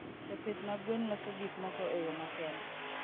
Jopith mag gwen loso gik moko e yo makende.